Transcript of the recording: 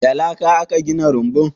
Da laka aka gina rumbun?